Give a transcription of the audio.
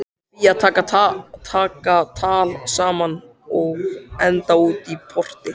Þau Fía taka tal saman og enda útí porti.